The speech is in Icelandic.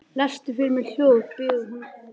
Lestu fyrir mig ljóð, biður hún lágt.